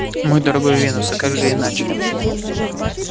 мой дорогой венус а как же иначе